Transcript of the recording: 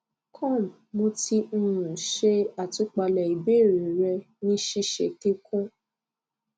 com mo ti um ṣe àtúpalẹ ìbéèrè rẹ ní ṣíṣe kíkún